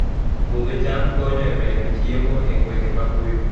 Puodho cham konyo e medo chiemo e gwenge maboyo